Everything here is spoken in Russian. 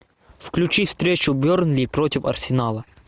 включи встречу бернли против арсенала